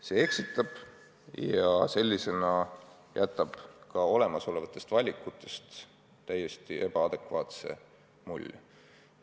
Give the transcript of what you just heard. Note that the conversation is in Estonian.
See eksitab ja jätab olemasolevatest valikutest täiesti ebaadekvaatse mulje.